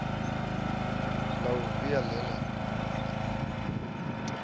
la u via le le